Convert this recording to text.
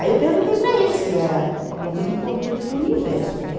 Aí eu perguntei para ele se era alguma coisa importante para o universo, né?